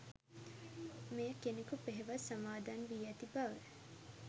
මෙය කෙනෙකු පෙහෙවස් සමාදන් වී ඇති බව